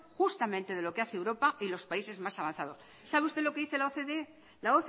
justamente de lo que hace europa y los países más avanzados sabe usted lo que dice la ocde